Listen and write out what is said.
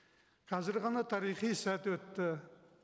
қазір ғана тарихи сәт өтті